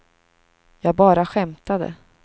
jag bara skämtade